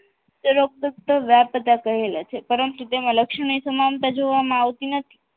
ઉપરોક્ત વ્યાપ્તતા કહેલ છે પરંતુ તેમાં લક્ષણોની સમાનતા જોવામાં આવતી નથી